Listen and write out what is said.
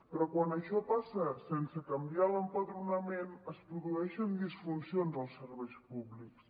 però quan això passa sense canviar l’empadronament es produeixen disfuncions als serveis públics